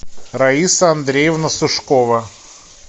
раиса андреевна сушкова